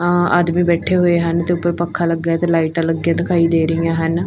ਆਦਮੀ ਬੈਠੇ ਹੋਏ ਹਨ ਤੇ ਉੱਪਰ ਪੱਖਾਂ ਲੱਗਾ ਤੇ ਲਾਈਟਾਂ ਲੱਗੀਆਂ ਦਿਖਾਈ ਦੇ ਰਹੀਆਂ ਹਨ।